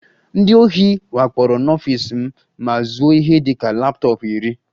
Ndị ohi wakporo n'ọfịs m ma zuo ihe dị ka laptọọpụ iri